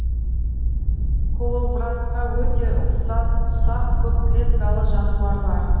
коловратка өте ұсақ көп клеткалы жануарлар